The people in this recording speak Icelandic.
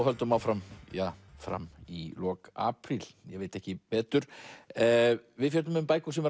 höldum áfram fram í lok apríl ég veit ekki betur við fjöllum um bækur sem